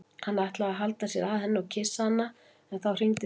Hann ætlaði að halla sér að henni og kyssa hana en þá hringdi síminn.